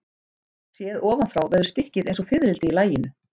Séð ofan frá verður stykkið eins og fiðrildi í laginu.